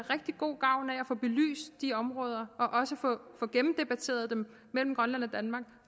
rigtig god gavn af at få belyst de områder og også få dem gennemdebatteret mellem grønland og danmark